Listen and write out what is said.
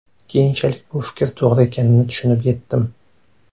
Keyinchalik bu fikr to‘g‘ri ekanini tushunib yetdim.